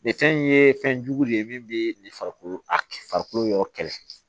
Nin fɛn in ye fɛn jugu de ye min bɛ farikolo yɔrɔ kɛlɛ